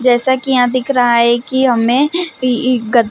जैसा की यहाँ दिख रहा है की हमें इ-इ गद्दे--